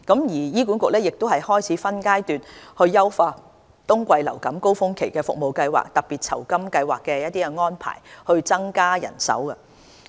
醫管局亦已開始分階段優化冬季服務高峰期的特別酬金計劃的安排，以增加人手。